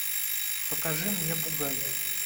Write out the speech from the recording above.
покажи мне бугай